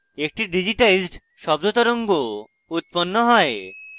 একটি digitized শব্দ তরঙ্গ উৎপন্ন হয়